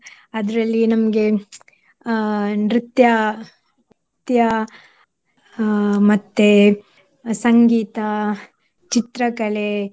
ಅದ್ರಲ್ಲಿ ನಮ್ಗೆ ಅಹ್ ನೃತ್ಯ ತ್ಯ~ ಅಹ್ ಮತ್ತೆ ಸಂಗೀತ, ಚಿತ್ರಕಲೆ